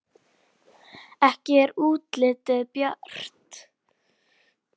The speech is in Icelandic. Ekki er útlitið bjart!